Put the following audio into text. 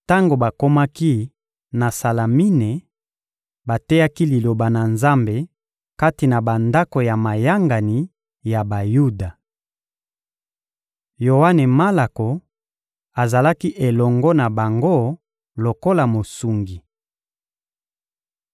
Tango bakomaki na Salamine, bateyaki Liloba na Nzambe kati na bandako ya mayangani ya Bayuda. Yoane Malako azalaki elongo na bango lokola mosungi.